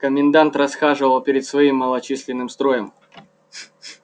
комендант расхаживал перед своим малочисленным строем